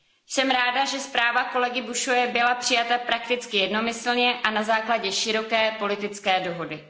Jsem ráda, že zpráva kolegy Bușoie byla přijata prakticky jednomyslně a na základě široké politické dohody.